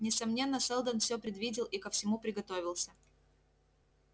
несомненно сэлдон все предвидел и ко всему приготовился